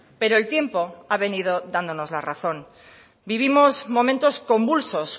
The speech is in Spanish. pero el tiempo ha venido dándonos la razón vivimos momentos convulsos